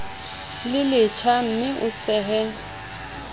le letjha mme o sehe